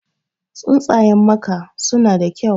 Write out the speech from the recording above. Tsuntsayen maka suna da kyau.